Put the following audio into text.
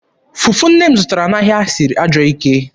Fufu nne m zụtara n'ahịa siri ajọọ ike.